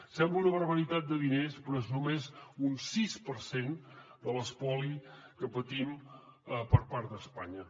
sembla una barbaritat de diners però és només un sis per cent de l’espoli que patim per part d’espanya